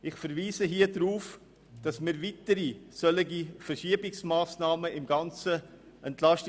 Ich verweise darauf, dass das EP weitere solche Verschiebungsmassnahmen enthält.